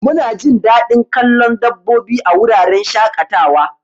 Munajin dadin kallon dabbobi a wuraren shaƙatawa.